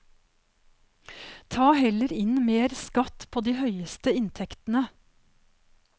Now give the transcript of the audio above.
Ta heller inn mer skatt på de høyeste inntektene.